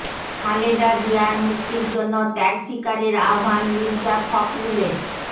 খালেদা জিয়ার মুক্তির জন্য ত্যাগ শিকারের আহ্বান মির্জা ফখরুলের